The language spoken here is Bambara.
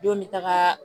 Denw bɛ taga